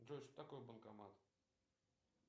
джой что такое банкомат